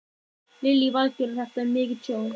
Lillý Valgerður: Þetta er mikið tjón?